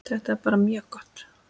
Þetta er bara mjög gott.